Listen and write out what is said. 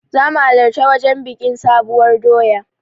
Zamu halarci wajen biƙin sabuwar doya